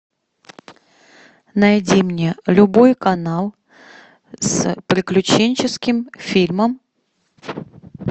найди мне любой канал с приключенческим фильмом